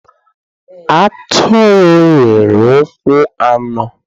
Atụrụ nwere ụkwụ anọ